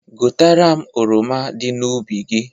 Ghọtara m oroma dị n'ubi gi